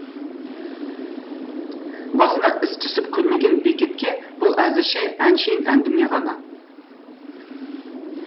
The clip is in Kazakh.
басына іс түсіп көрмеген бекетке бұл әзірше әншейін әңгіме ғана